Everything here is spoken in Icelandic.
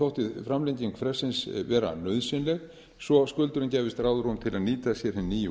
ákveðinn þótti framlenging fresti vera nauðsynleg svo að skuldurum gæfist ráðrúm til að nýta sér hin nýju